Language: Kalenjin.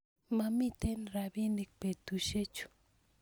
mamitei rapinik betusiechu